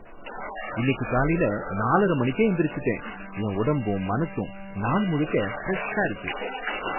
இன்னிக்கு காலைல நாலரை மணிக்கே எந்திரிச்சுட்டேன், என் உடம்பும் மனசும் நாள் முழுக்க ஃபிரெஷ்ஷா இருக்கு.